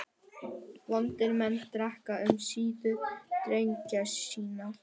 Vondir menn drekka um síðir dreggjar sínar.